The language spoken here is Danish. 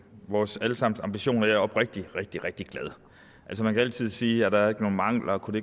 vores alle sammens ambitioner jeg er oprigtig rigtig rigtig glad man kan altid sige er der ikke nogen mangler og kunne